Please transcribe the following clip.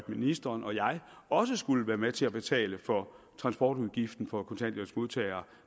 ministeren og jeg også skulle være med til at betale for transportudgiften for kontanthjælpsmodtagere